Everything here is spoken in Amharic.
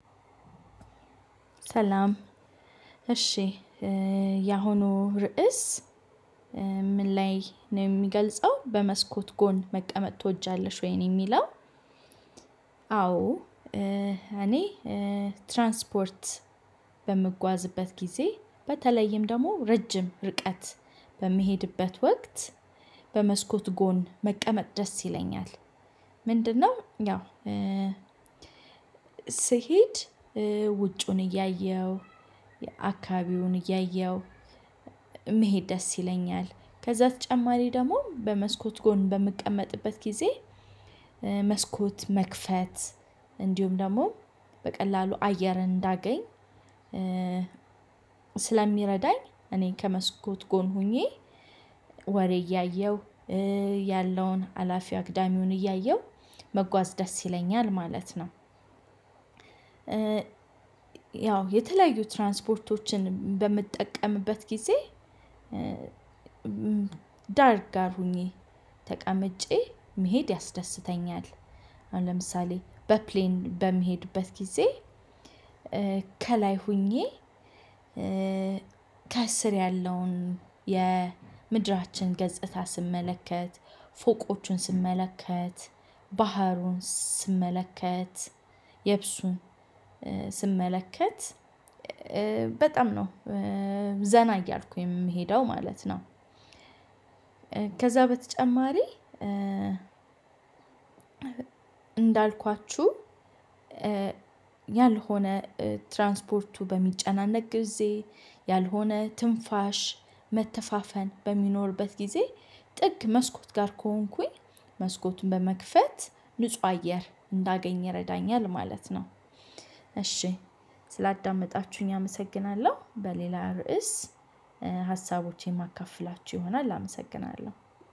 ሰላም እሺ ያሁኑ ርዕስ ምን ላይ ነው የሚገልጸው በመስኮት ጎን መቀመጥ ትወጃለሽ ወይ ነው የሚለው? አዎ እኔ ትራንስፖርት በምጓዝበት ጊዜ በተለይም ደግሞ ረጅም ርቀት በምሄድበት ወቅት በመስኮት ጎን መቀመጥ ደስ ይለኛል። ምንድነው ያው ስሄድ ውጩን እያየሁ አካባቢውን እያየሁ መሄድ ደስ ይለኛል። ከዛ በተጨማሪ ደግሞ በመስኮት ጎን በምቀመጥበት ጊዜ መስኮት መክፈት እንዲሁም ደግሞ በቀላሉ አየር እንዳገኝ ስለሚረዳኝ እኔ ከመስኮት ጎን ሆኜ ወሬ እያየሁ ያለውን አላፊ አግዳሚውን እያየሁ መጓዝ ደስ ይለኛል ማለት ነው። ያው የተለያዩ ትራንስፖርቶችን በምትጠቀምበት ጊዜ ዳር ጋር ሆኜ ተቀምጬ መሄድ ያስደስተኛል። አሁን ለምሳሌ በፕሌን በምሄድበት ጊዜ ከላይ ሆኜ ከስር ያለውን የምድራችን ገጽታ ስመለከት ፎቆቹን ስመለከት ባህሩን ስመለከት የብሱን ስመለከት በጣም ነው ዘና እያልኩኝ ምሄደው ማለት ነው። ከዛ በተጨማሪ እንዳልኳችው ያልሆነ ትራንስፖርቱ በሚጨናነቅ ጊዜ ያልሆነ ትንፋሽ መተፋፈን በሚኖርበት ጊዜ ጥግ መስኮት ጋር ከሆንኩኝ መስኮቱን በመክፈት ንጹህ አየር እንዳገኝ ይረዳኛል ማለት ነው። እሺ ስላዳመጣችሁኝ አመሰግናለሁ በሌላ ርዕስ ሀሳቦቼን ማካፍላችሁ ይሆናል አመሰግናለሁ።